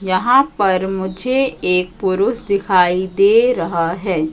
यहां पर मुझे एक पुरुष दिखाई दे रहा है।